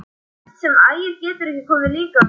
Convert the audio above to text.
Verst að Ægir getur ekki komið líka.